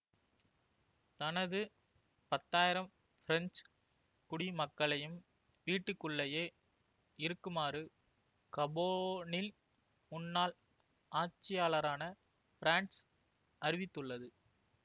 தனது பத்தாயிரம் பிரெஞ்சு குடிமக்களையும் வீட்டுக்குள்ளயே இருக்குமாறு கபோனில் முன்னாள் ஆட்சியாளரான பிரான்ஸ் அறிவித்துள்ளது